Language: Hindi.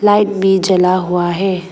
लाइट भी जला हुआ है।